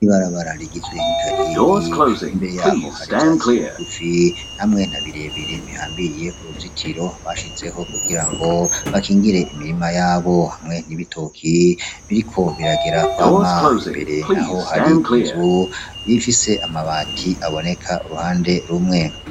Ibarabara rigizwe n'ikariyeri, imbere yaho hari ivyatsi bigufi hamwe na birebire bihambiriye ku ruzitiro bashizeho kugira ngo bakingire imirima yabo, hamwe n'ibitoki biriko biragera kwama, imbere naho hari inzu ifise amabati aboneka uruhande rumwe.